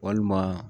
Walima